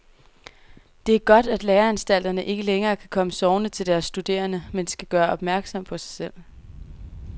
Det er godt, at læreanstalterne ikke længere kan komme sovende til deres studerende, men skal gøre opmærksom på sig selv.